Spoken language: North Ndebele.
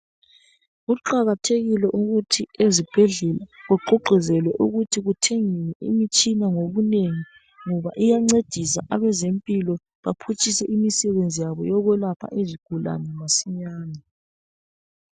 Kuqakathekile ukuthi ezibhedlela kuququzelwe ukuthi kuthengwe imitshina ngobunengi ngoba iyancedisa abezempilo baphutshise imisebenzi yabo yokwelapha izigulani masinyane.